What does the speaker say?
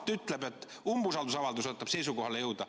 Mart ütleb, et umbusaldusavaldus aitab seisukohale jõuda.